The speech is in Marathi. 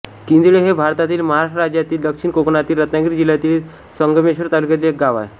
किंजळे हे भारतातील महाराष्ट्र राज्यातील दक्षिण कोकणातील रत्नागिरी जिल्ह्यातील संगमेश्वर तालुक्यातील एक गाव आहे